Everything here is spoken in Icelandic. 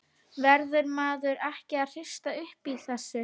Verður maður ekki að hrista upp í þessu?